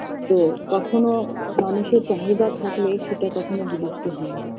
তো কখনো মানুষের চাহিদা থাকলে সেটা কখনো বিলুপ্তি হয়না